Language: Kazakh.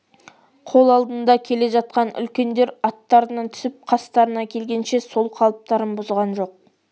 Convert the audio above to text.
қол алдында келе жатқан үлкендер аттарынан түсіп қастарына келгенше сол қалыптарын бұзған жоқ